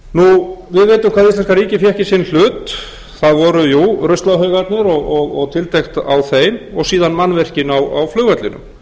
fékk í sinn hlut það voru ruslahaugarnir og tiltekt á þeim og síðan mannvirkin á flugvellinum